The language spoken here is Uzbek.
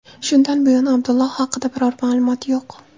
Shunday buyon Abdulloh haqida biror ma’lumot yo‘q.